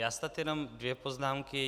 Já snad jenom dvě poznámky.